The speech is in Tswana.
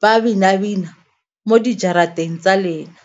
ba bina-bina mo dijarateng tsa lena.